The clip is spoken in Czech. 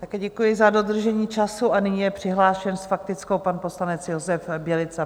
Také děkuji za dodržení času a nyní je přihlášen s faktickou pan poslanec Josef Bělica.